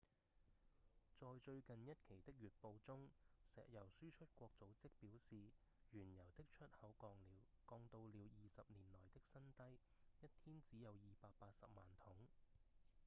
在最近一期的月報中石油輸出國組織表示原油的出口降到了20年來的新低一天只有280萬桶